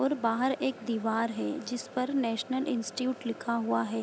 और बाहर एक दीवार है जिसपर नेशनल इंस्टीट्यूट लिखा हुआ है।